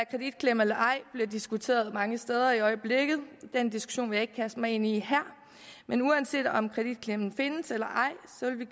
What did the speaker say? kreditklemme eller ej bliver diskuteret mange steder i øjeblikket den diskussion vil jeg ikke kaste mig ind i her men uanset om kreditklemmen findes eller